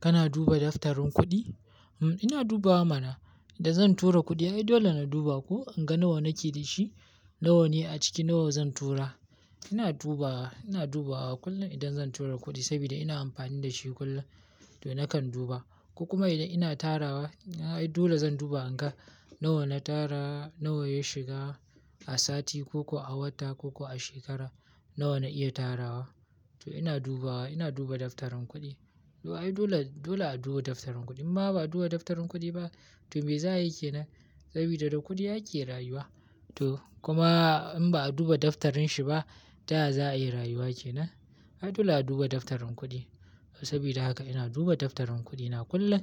Kana duba daftarin kuɗi? Hm, ina dubawa mana. Idan zan tura kuɗi, ai dole na duba ko in ga nawa nake da shi, nawa ne a ciki, nawa zan tura. Ina dubawa, ina dubawa kullum idan zan tura kuɗi sabida ina amfani da shi kullum, to nakan duba. Kuma idan ina tarawa, ai dole zan duba in ga nawa na tara, nawa ya shiga a sati ko kuwa a wata ko kuwa a shekara, nawa na iya tarawa. To ina dubawa, ina duba daftarin kuɗi. Ai dole, dole a duba daftarin kuɗi. In Ma ba a duba daftarin kuɗi ba, to me za a yi kenan? Saboda da kuɗi ake rayuwa. To kuma in ba a duba daftarin shi ba, ta ya za a yi rayuwa kenan? Ai dole a duba daftarin kuɗi. Saboda haka ina duba daftarin kuɗina kullum,